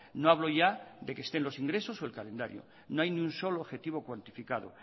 no hablo ya de que estén los ingresos o el calendario no hay ni un solo objetivo cuantificado